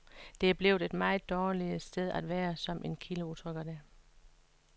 Det er blevet et meget dårligt sted at være, som en kilde udtrykker det.